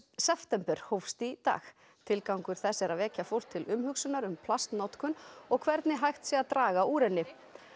september hófst í dag tilgangur þess er að vekja fólk til umhugsunar um plastnotkun og hvernig hægt sé að draga úr henni